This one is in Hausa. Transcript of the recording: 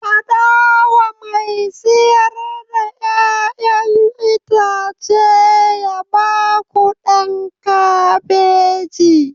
Faɗa wa mai siyar da 'ya'yan itace ya ba ku ɗan kabeji!